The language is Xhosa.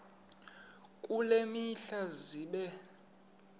kule mihla zibe